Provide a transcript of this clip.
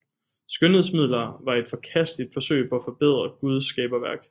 Skønhedsmidler var et forkasteligt forsøg på at forbedre Guds skaberværk